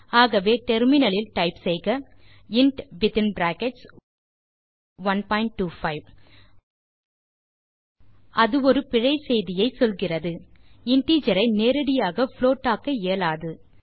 ஆகவே டெர்மினல் இல் டைப் செய்க இன்ட் வித்தின் பிராக்கெட்ஸ் 125160 அது ஒரு பிழை செய்தியை சொல்ல்கிறது இன்டிஜர் ஐ நேரடியாக புளோட் ஆக்க இயலாது